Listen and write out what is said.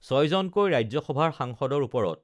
ছয়জনকৈ ৰাজ্য সভাৰ সাংসদৰ ওপৰত